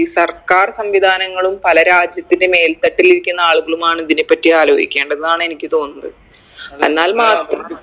ഈ സർക്കാർ സംവിധാനങ്ങളും പല രാജ്യത്തിൻറെ മേൽത്തട്ടിലിരിക്കുന്ന ആളുകളുമാണ് ഇതിനെപ്പറ്റി ആലോചിക്കേണ്ടതെന്നാണ് എനിക്ക് തോന്നുന്നത് എന്നാൽ മാത്രമെ